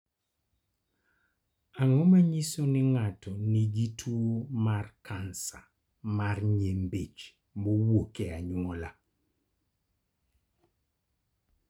Ang�o ma nyiso ni ng�ato nigi tuo mar kansa mar nyimbich mowuok e anyuola?